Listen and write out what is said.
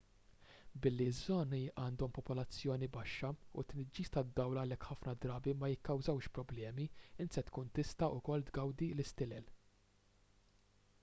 billi ż-żoni għandhom popolazzjoni baxxa u t-tniġġis tad-dawl għalhekk ħafna drabi ma jikkawżax problemi int se tkun tista' wkoll tgawdi l-istilel